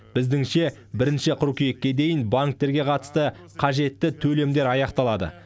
біздіңше бірінші қыркүйекке дейін банктерге қатысты қажетті төлемдер аяқталады